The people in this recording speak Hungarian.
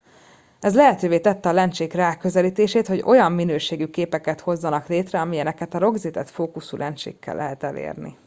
ez lehetővé tette a lencsék ráközelítését hogy olyan minőségű képeket hozzanak létre amilyeneket a rögzített fókuszú lencsékkel lehet elérni